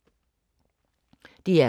DR K